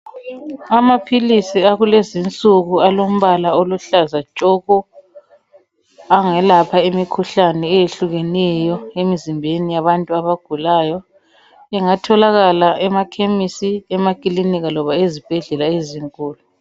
Amaphilisi akulezinsuku alombala oluhlaza tshoko, angelapha imikhuhlane eyehlukeneyo emzimbeni yabantu abagulayo. Ingatholakala emakhemisi, emakilinika loba ezibhedlela ezinkulu.